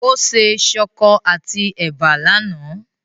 Ó se ṣọkọ àti ẹ̀bà lánàá.